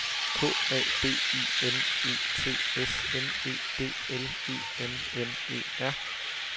K A B I N E T S M E D L E M M E R